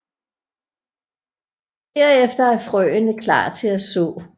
Derefter er frøene klar til at så